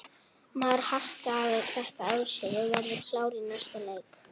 Maður harkar þetta af sér og ég verð klár í næsta leik.